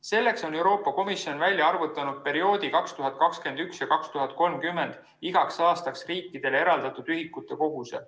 Selleks on Euroopa Komisjon välja arvutanud perioodi 2021–2030 igaks aastaks riikidele eraldatud ühikute koguse.